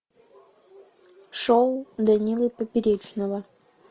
шоу данилы поперечного